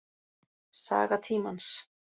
Saga tímans.